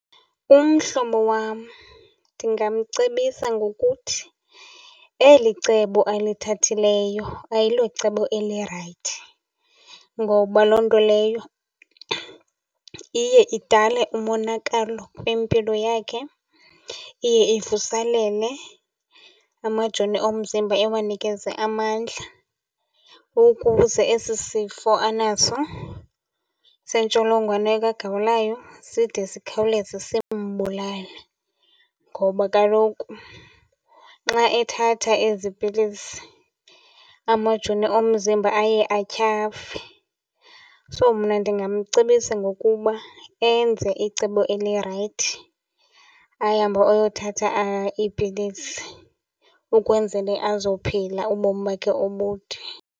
Umhlobo wam ndingamcebisa ngokuthi eli cebo alithathileyo ayilocebo elirayithi. Ngoba loo nto leyo iye idale umonakalo kwimpilo yakhe, iye ivuselele amajoni omzimba iwanikeze amandla ukuze esi sifo anaso sentsholongwane kagawulayo side zikhawuleze simbulale ngoba kaloku nxa ethatha ezi pilisi amajoni omzimba aye atyhafe. So, mna ndingamcebisa ngokuba enze icebo elirayithi ahambe ayothatha iipilisi ukwenzele azophila ubomi bakhe obude.